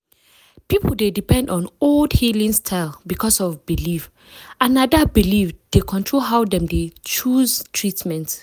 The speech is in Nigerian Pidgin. people dey depend on old healing style because of belief and na that belief dey control how dem dey choose treatment.